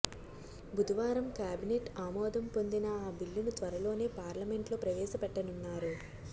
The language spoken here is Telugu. బుధవారం కేబినెట్ ఆమోదం పొందిన ఆ బిల్లును త్వరలోనే పార్లమెంట్లో ప్రవేశపెట్టనున్నారు